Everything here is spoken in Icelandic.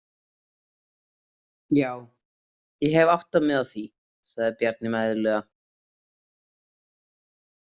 Já, ég hef áttað mig á því, sagði Bjarni mæðulega.